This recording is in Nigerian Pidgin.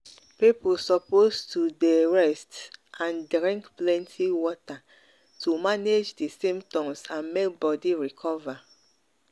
people suppose to de rest and drink plenty water water to manage di symptoms and make body recover.